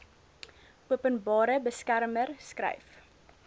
openbare beskermer skryf